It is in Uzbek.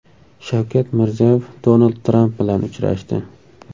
Shavkat Mirziyoyev Donald Tramp bilan uchrashdi.